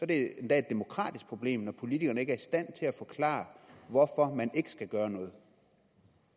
det endda et demokratisk problem når politikerne ikke er i stand til at forklare hvorfor man ikke skal gøre noget